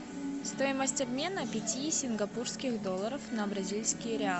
стоимость обмена пяти сингапурских долларов на бразильские реалы